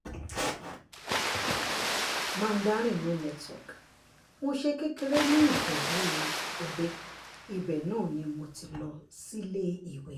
mandarin no network mo ṣe kékeré ní ijebu-òde ibẹ̀ náà ni mo ti lọ síléèwé